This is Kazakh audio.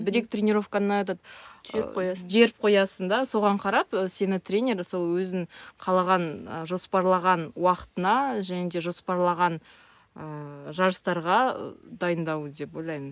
бір екі тренеровканы этот ы жіберіп қоясың жіберіп қоясың да соған қарап сені тренер сол өзінің қалаған жоспарлаған уақытына және де жоспарлаған ыыы жарыстарға дайындауы деп ойлаймын